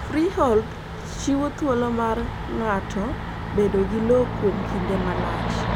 Freehold chiwo thuolo mar ng'ato bedo gi lowo kuom kinde malach.